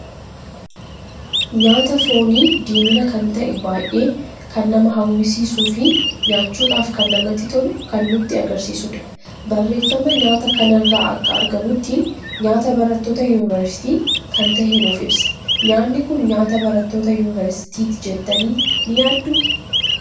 Nyaata foonii, diimina kan ta'e baay'ee kan nama hawwisiisuu fi nyaachuudhaf kan namatti tolu kan nutti agarsiisuudha. barreeffama nyaata kanarra akka argamutti nyaata barattoota Yunveersitii kan tahe nuuf ibsa. Nyaanni kun nyaata barattoota yuunveersitiiti jettani hin yaaddu?